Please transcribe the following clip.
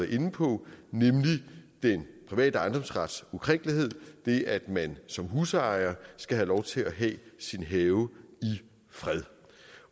inde på nemlig den private ejendomsrets ukrænkelighed det at man som husejer skal have lov til at have sin have i fred